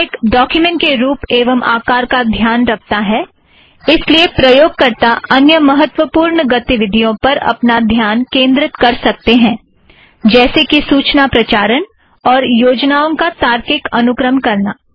LaTeX document के रुप एवं आकार का ध्यान रखता है इस लिए प्रयोगकरता अन्य महत्त्वपूर्ण गतिविधियों पर अपना ध्यान केंद्रित कर सकते हैं - जैसे कि सूचना प्रचारण और योजनाओं का तार्किक अनुक्रम करना